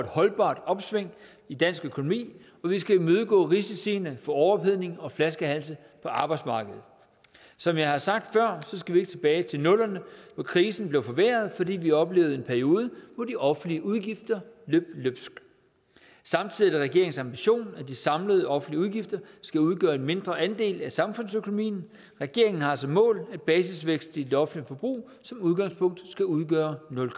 holdbart opsving i dansk økonomi og vi skal imødegå risiciene for overophedning og flaskehalse på arbejdsmarkedet som jeg har sagt før skal vi ikke tilbage til nullerne hvor krisen blev forværret fordi vi oplevede en periode hvor de offentlige udgifter løb løbsk samtidig er det regeringens ambition at de samlede offentlige udgifter skal udgøre en mindre andel af samfundsøkonomien regeringen har som mål at basisvæksten i det offentlige forbrug som udgangspunkt skal udgøre nul